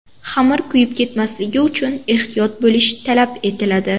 Xamir kuyib ketmasligi uchun ehtiyot bo‘lish talab etiladi.